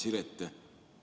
Hea Siret!